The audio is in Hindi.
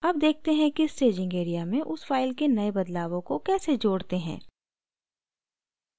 add देखते हैं कि staging area में उस file के now बदलावों को कैसे जोड़ते हैं